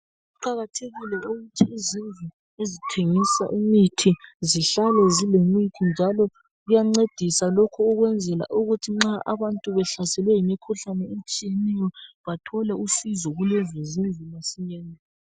Kuqakathekile ukuthi izindlu ezithengisa imithi zihlale zilemithi njalo kuyancedisa lokhu ukwenzela ukuthi nxa abantu behlaselwe yimikhuhlane etshiyeneyo bathole usizo kulezi zindlu masinyane.